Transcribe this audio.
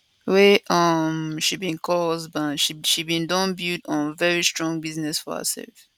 wey um she bin call husband she bin don build um very strong business for hersef